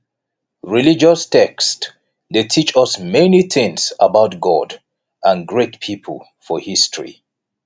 religious text de teach us many things about god and great pipo for history